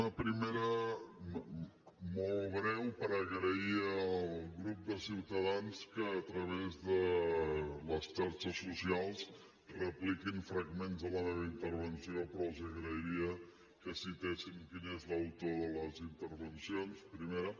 una primera molt breu per agrair al grup de ciutadans que a través de les xarxes socials repliquin fragments de la meva intervenció però els agrairia que citessin quin és l’autor de les intervencions primera